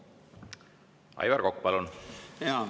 Aivar Kokk, palun!